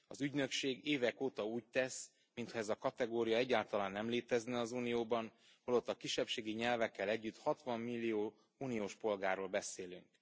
Az ügynökség évek óta úgy tesz, mintha ez a kategória egyáltalán nem létezne az Unióban, holott a kisebbségi nyelvekkel együtt 60 millió uniós polgárról beszélünk.